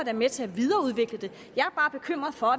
er med til at videreudvikle det jeg er bare bekymret for